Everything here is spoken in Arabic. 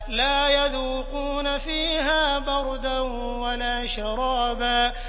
لَّا يَذُوقُونَ فِيهَا بَرْدًا وَلَا شَرَابًا